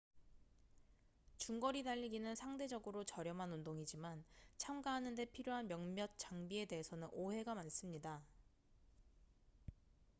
중거리 달리기는 상대적으로 저렴한 운동이지만 참가하는데 필요한 몇몇 장비에 대해서는 오해가 많습니다